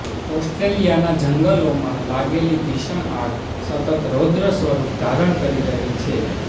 ઓસ્ટ્રેલિયાના જંગલોમાં લાગેલી ભીષણ આગ સતત રૌદ્ર સ્વરૂપ ધારણ કરી રહી છે